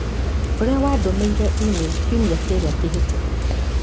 ũrĩa wandũmĩire e-mail kiumia kĩrĩa kĩhĩtũku.